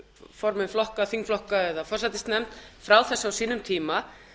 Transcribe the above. formenn flokka þingflokka eða forsætisnefnd frá þessu á sínum tíma